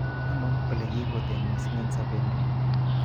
Tos ano olekiiputen mising en sobeng'ung'?